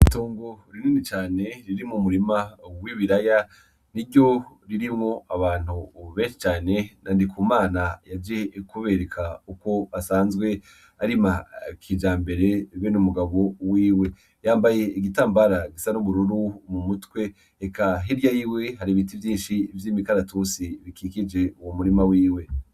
Itongo rinini cane ririmwo murima w'ibiraya niryo ririmwo abantu benshe cane na Ndikumana yaje kubereka ukwo basanzwe arima kijambere bene n’umugabo wiwe yambaye igitambara gisa n'ubururu mu mutwe eka hirya yiwe hari ibiti vyinshi vyimikaratusi bikikije uwu murima wiwe.